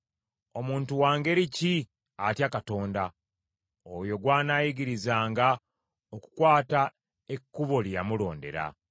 Omuntu wa ngeri ki atya Katonda? Oyo gw’anaayigirizanga okukwata ekkubo lye yamulondera.